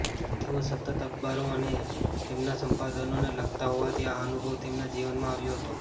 તેઓ સતત અખબારો અને તેમના સંપાદકોને લખતા હોવાથી આ અનુભવ તેમના જીવનમાં આવ્યો હતો